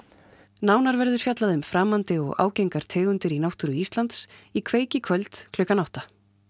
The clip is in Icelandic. nánar verður fjallað um framandi og ágengar tegundir í náttúru Íslands í kveik í kvöld klukkan átta